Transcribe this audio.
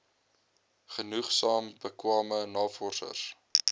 genoegsaam bekwame navorsers